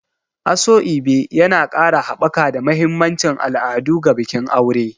Asoebi yana ƙara haɓaka da mahimmancin al'adu ga bikin aure.